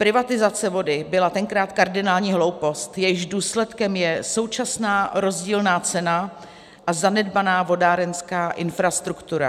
Privatizace vody byla tenkrát kardinální hloupost, jejímž důsledkem je současná rozdílná cena a zanedbaná vodárenská infrastruktura.